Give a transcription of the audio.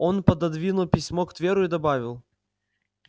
он пододвинул письмо к тверу и добавил